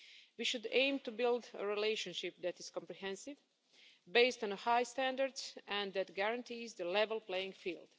We should aim to build a relationship that is comprehensive, based on high standards and that guarantees a level playing field.